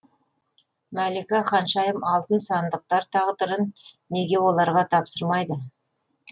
мәлика ханшайым алтын сандықтар тағдырын неге оларға тапсырмайды